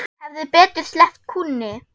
Hefði betur sleppt kúnni.